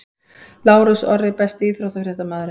Lárus Orri Besti íþróttafréttamaðurinn?